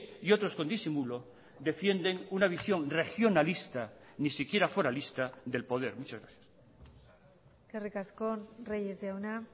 y otros con disimulo defienden una visión regionalista ni siquiera foralista del poder muchas gracias eskerrik asko reyes jauna